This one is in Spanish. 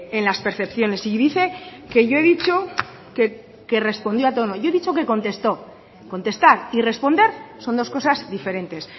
en las percepciones y dice que yo he dicho que respondió a todo yo he dicho que contestó contestar y responder son dos cosas diferentes